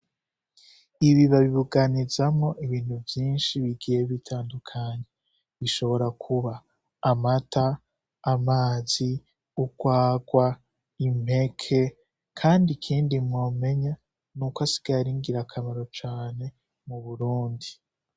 Ibi babibuganizamwo ibintu vyishi bigiye bitandukanye bishobora kuba ;amata, amazi, urwarwa, impeke kandi ikindi mwomenya nuko asigaye ari ngira kamaro cane m'Uburundi